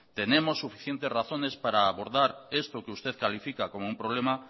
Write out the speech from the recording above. tenemos suficientes razones para abordar esto que usted califica como un problema